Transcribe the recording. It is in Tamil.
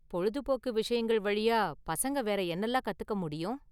பொழுதுபோக்கு விஷயங்கள் வழியா பசங்க வேற என்னலாம் கத்துக்க முடியும்?